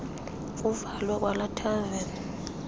kuvalwe kwalaa thaveni